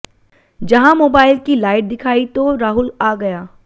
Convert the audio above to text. जहां मोबाइल की लाइट दिखाई तो राहुल आ गया